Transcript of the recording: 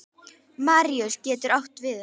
Maríus getur átt við um